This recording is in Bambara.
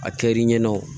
A kɛ l'i ɲɛna o